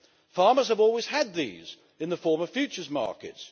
Farmers have always had these in the form of futures markets.